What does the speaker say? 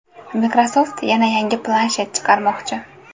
Microsoft yana yangi planshet chiqarmoqchi.